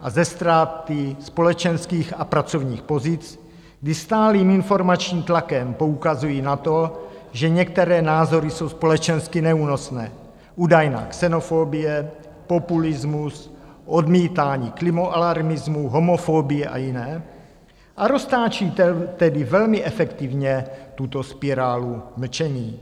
a ze ztráty společenských a pracovních pozic, kdy stálým informačním tlakem poukazují na to, že některé názory jsou společensky neúnosné, údajná xenofobie, populismus, odmítání klimaalarmismu, homofobie a jiné, a roztáčí tedy velmi efektivně tuto spirálu mlčení.